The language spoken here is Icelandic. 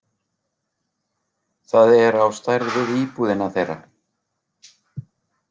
Það er á stærð við íbúðina þeirra.